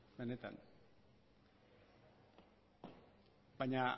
benetan baina